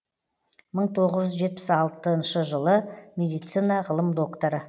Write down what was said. мың тоғыз жүз жетпіс алтыншы жылы медицина ғылым докторы